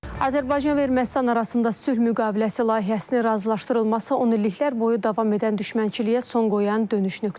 Azərbaycan və Ermənistan arasında sülh müqaviləsi layihəsinin razılaşdırılması 10 illiklər boyu davam edən düşmənçiliyə son qoyan dönüş nöqtəsidir.